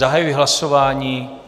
Zahajuji hlasování.